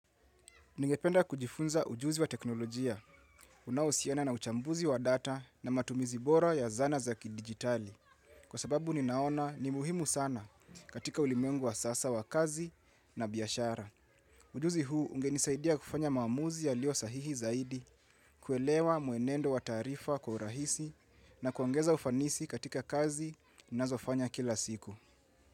Ningependa kujifunza ujuzi wa teknolojia, unaohusiana na uchambuzi wa data na matumizi bora ya zana za kidijitali kwa sababu ninaona ni muhimu sana katika ulimwengu wa sasa wa kazi na biashara. Ujuzi huu ungenisaidia kufanya maamuzi yalio sahihi zaidi kuelewa mwenendo wa taarifa kwa urahisi na kuongeza ufanisi katika kazi ninazofanya kila siku.